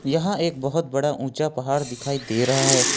यहां एक बहोत बड़ा ऊंचा पहाड़ दिखाई दे रहा है।